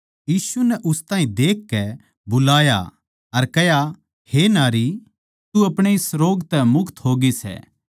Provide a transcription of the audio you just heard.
यीशु नै उस ताहीं देखकै बुलाया अर कह्या हे नारी तू अपणे इस रोग तै मुक्त होगी सै